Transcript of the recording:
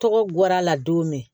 Tɔgɔ guwɛr'a la don min